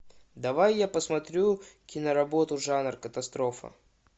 давай я посмотрю киноработу жанр катастрофа